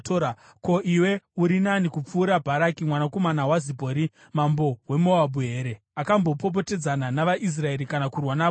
Ko, iwe uri nani kupfuura Bharaki mwanakomana waZipori mambo weMoabhu here? Akambopopotedzana navaIsraeri kana kurwa navo here?